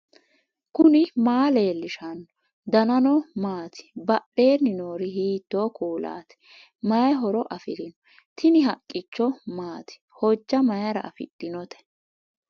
knuni maa leellishanno ? danano maati ? badheenni noori hiitto kuulaati ? mayi horo afirino ? tini haqqicho maati hojja mayra afidhinote